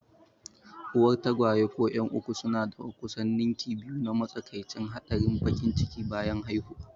Uwar tagwaye ko 'yan uku suna da kusan ninki biyu na matsakaicin haɗarin baƙin ciki bayan haihuwa.